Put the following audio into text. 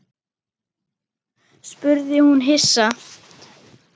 spurði hún hissa.